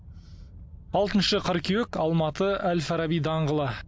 алтыншы қыркүйек алматы әл фараби даңғылы